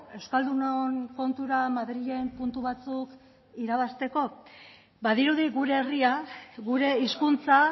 euskaldunon kontura madrilen puntu batzuk irabazteko badirudi gure herria gure hizkuntza